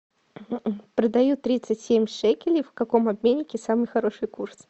продаю тридцать семь шекелей в каком обменнике самый хороший курс